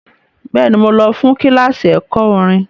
Bẹ́ẹ̀ni, mo lọ fún kíláàsì ẹ̀kọ́ orin.